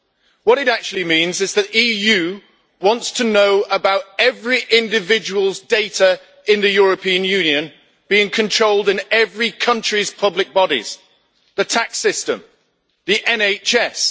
What it actually means is that the EU wants to know about every individual's data in the European Union being controlled in every country's public bodies the tax system, the NHS.